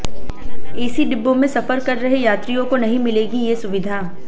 AC डिब्बों में सफर कर रहे यात्रियों को नहीं मिलेगी ये सुविधा